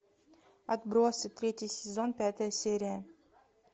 отбросы третий сезон пятая серия